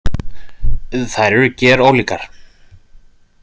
Þær eru gerólíkar.